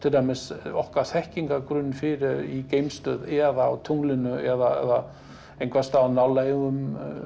okkar þekkingargrunni fyrir í geimstöð eða á tunglinu eða einhvers staðar á nálægum